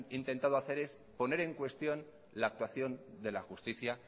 intentado hacer es poner en cuestión la actuación de la justicia